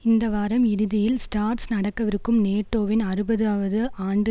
இந்த வாரம் இறுதியில் ஸ்ட்ராஸ் நடக்கவிருக்கும் நேட்டோவின் அறுபது வது ஆண்டு